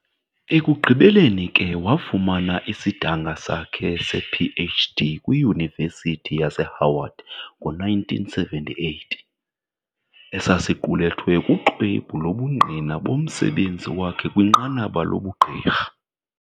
Ekugqibeleni ke wafumana isidanga sakhe sePh.D. kwiYunivesithi yaseHoward ngo-1978, esasiqulethwe kuxwebhu lobungqina bomsebenzi wakhe kwinqanaba lobugqirha